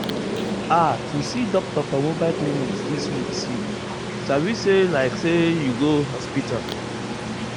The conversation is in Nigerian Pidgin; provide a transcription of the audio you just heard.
ah to see doctor for mobile clinic still sweet you sabi say like say you go hospital.